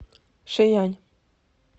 шиянь